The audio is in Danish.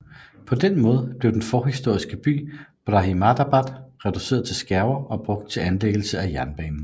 På den måde blev den forhistoriske by Brahminabad reduceret til skærver og brugt til anlæggelsen af jernbanen